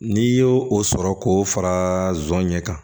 N'i y'o o sɔrɔ k'o fara nson ɲɛ kan